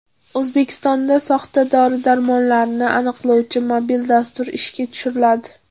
O‘zbekistonda soxta dori-darmonlarni aniqlovchi mobil dastur ishga tushiriladi.